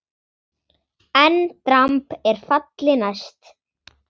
EN DRAMB ER FALLI NÆST!